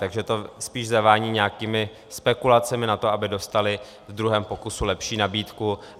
Takže to spíš zavání nějakými spekulacemi na to, aby dostali v druhém pokusu lepší nabídku.